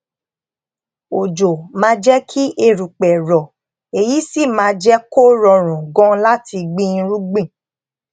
òjò máa jé kí erùpè rò èyí sì máa jé kó rọrùn gan láti gbin irúgbìn